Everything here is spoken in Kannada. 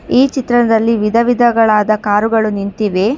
ಈ ಚಿತ್ರದಲ್ಲಿ ವಿಧವಿಧಗಳಾದ ಕಾರುಗಳು ನಿಂತಿವೆ.